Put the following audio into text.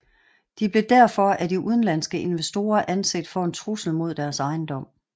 De blev derfor af de udenlandske investorer anset for en trussel mod deres ejendom